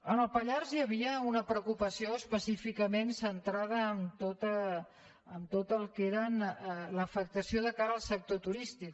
en el pallars hi havia una preocupació específicament centrada en tot el que era l’afectació de cara al sector turístic